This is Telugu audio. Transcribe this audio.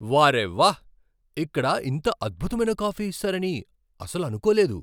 వార్రే వా! ఇక్కడ ఇంత అద్భుతమైన కాఫీ ఇస్తారని అసలు అనుకోలేదు.